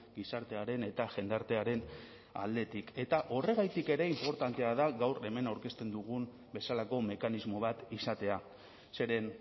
gizartearen eta jendartearen aldetik eta horregatik ere inportantea da gaur hemen aurkezten dugun bezalako mekanismo bat izatea zeren